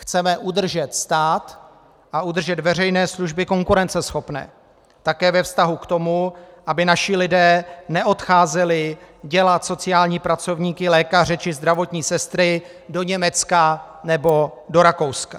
Chceme udržet stát a udržet veřejné služby konkurenceschopné také ve vztahu k tomu, aby naši lidé neodcházeli dělat sociální pracovníky, lékaře či zdravotní sestry do Německa nebo do Rakouska.